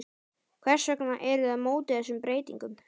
Hvers vegna eruð þið á móti þessum breytingum?